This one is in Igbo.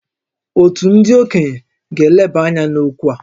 Òtù ndị okenye ga-eleba anya n’okwu a